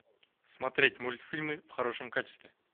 смотреть мультфильмы в хорошем качестве